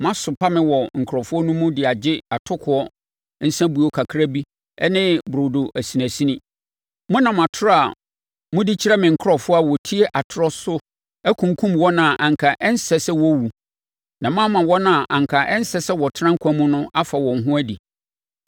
Moasopa me wɔ me nkurɔfoɔ mu de agye atokoɔ nsabuo kakra bi ne burodo asinasini. Monam atorɔ a modi kyerɛ me nkurɔfoɔ a wɔtie atorɔ so akunkum wɔn a anka ɛnsɛ sɛ wɔ wuwu, na moama wɔn a anka ɛnsɛ sɛ wɔtena nkwa mu no afa wɔn ho adi.